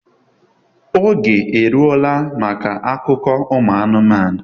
oge eruola maka akụkọ umu anụmanụ